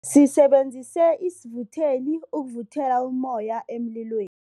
Sisebenzise isivutheli ukuvuthela ummoya emlilweni.